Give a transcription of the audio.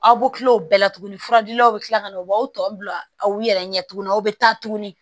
Aw bɛ kila o bɛɛ la tuguni furadilaw bɛ tila ka na u b'aw tɔw bila aw yɛrɛ ɲɛ tuguni aw bɛ taa tuguni